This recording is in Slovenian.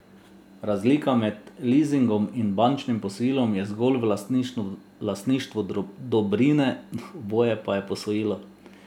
Razlika med lizingom in bančnim posojilom je zgolj v lastništvu dobrine, oboje pa je posojilo.